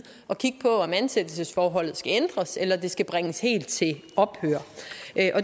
at kigge på om ansættelsesforholdet skal ændres eller det skal bringes helt til ophør